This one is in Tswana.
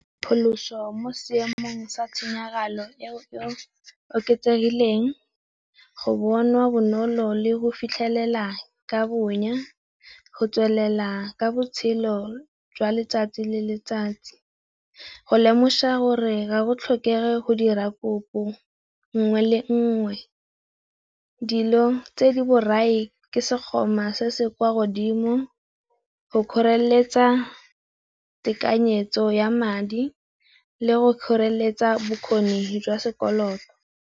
Pholoso mo seemong sa tshenyagalo e oketsegileng, go bonwa bonolo le go fitlhelela ka bonya, go tswelela ka botshelo jwa letsatsi le letsatsi, go lemosa gore ga go tlhokege go dira kopo nngwe le nngwe, dilo tse di borai ke sekgoma se se kwa godimo, go kgoreletsa tekanyetso ya madi le go kgoreletsa bokgoni jwa sekoloto.